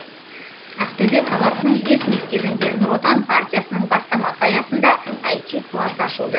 ақтөбе қаласының бес мектебінде нұр отан партиясының бастамасы аясында іт класс ашылды